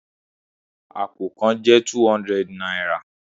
Apó kàn jẹ two hundred náírà